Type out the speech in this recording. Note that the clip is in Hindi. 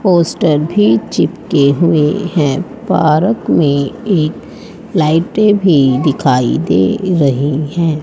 पोस्ट भी चिपके हुए हैं। पार्क में एक लाइटें भी दिखाई दे रही है।